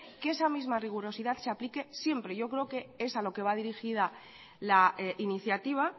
que esa misma rigurosidad se aplique siempre yo creo que es a lo que va dirigida la iniciativa